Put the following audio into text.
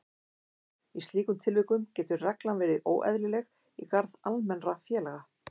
Í slíkum tilvikum getur reglan verið óeðlileg í garð almennra félaga.